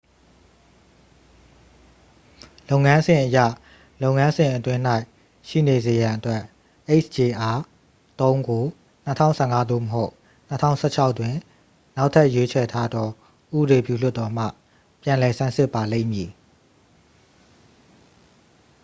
လုပ်ငန်းစဉ်အရ လုပ်ငန်းစဉ်အတွင်း၌ရှိနေစေရန်အတွက် hjr-3 ကို 2015 သို့မဟုတ် 2016 တွင် နောက်ထပ်ရွေးချယ်ထားသော ဥပဒေပြုလွှတ်တော်မှ ပြန်လည်ဆန်းစစ်ပါလိမ့်မည်